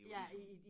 Det var ligesom